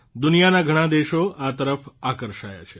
દુનિયાનાં ઘણાં દેશો આ તરફ આકર્ષાયા છે